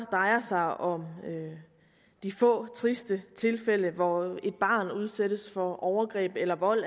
drejer sig om de få triste tilfælde hvor et barn udsættes for overgreb eller vold